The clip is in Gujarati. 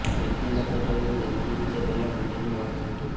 વૈદ્યનાથને કહ્યું કે જમીનની નીચે પહેલાં મંદિરનું માળખું હતું